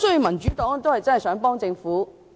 民主黨想幫助政府。